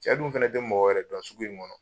Cɛ dun fɛnɛ te mɔgɔ wɛrɛ dɔn sugu in ŋɔnɔ.